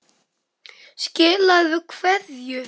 Skilaðu kveðju!